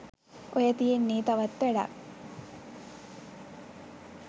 ඔය තියෙන්නේ තවත් වැඩක්.